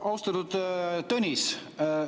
Austatud Tõnis!